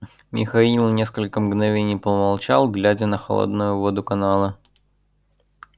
михаил несколько мгновений помолчал глядя на холодную воду канала